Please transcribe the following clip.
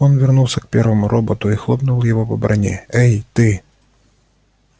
он вернулся к первому роботу и хлопнул его по броне эй ты